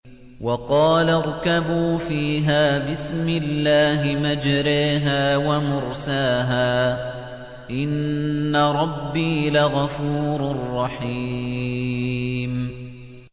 ۞ وَقَالَ ارْكَبُوا فِيهَا بِسْمِ اللَّهِ مَجْرَاهَا وَمُرْسَاهَا ۚ إِنَّ رَبِّي لَغَفُورٌ رَّحِيمٌ